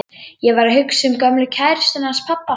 Ég var að hugsa um gömlu kærustuna hans pabba.